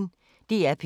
DR P1